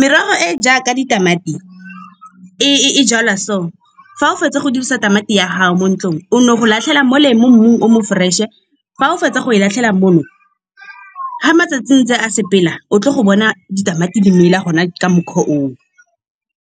Merogo e e jaaka ditamati e jalwa so. Fa o fetsa go dirisa tamati ya gago mo ntlong o no go latlhela mo le mo mmung o mo fresh-e. Fa o fetsa go e latlhela moo ga matsatsi ntse a sepela o tlile go bona ditamati di mela gona ka mokgwa oo.